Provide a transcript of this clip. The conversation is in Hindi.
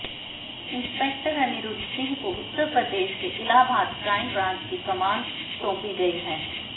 इंस्पेक्टर अनिरुद्ध सिंह को उत्तर प्रदेश के इलाहाबाद क्राइम ब्रांच की कमान सौंपी गई है